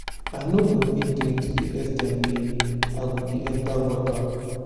i no go fit drink to the ex ten t wey i go dey enter gutter